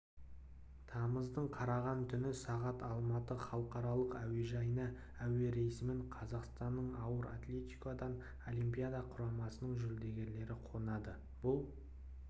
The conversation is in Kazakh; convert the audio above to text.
тамыздың қараған түні сағат алматы халықаралық әуежайына әуерейсімен қазақстанның ауыр атлетикадан олимпиада құрамасының жүлдегерлері қонады бұл